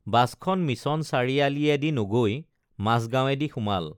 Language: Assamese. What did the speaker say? বাছখন মিছন চাৰিআলিয়েদি নগৈ মাজগাৱেঁদি সোমাল